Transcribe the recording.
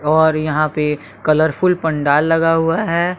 और यहां पे कलरफूल पंडाल लगा हुआ है।